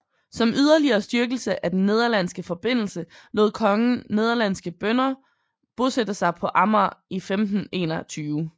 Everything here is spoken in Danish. Som yderligere styrkelse af den nederlandske forbindelse lod kongen nederlandske bønder bosætte sig på Amager i 1521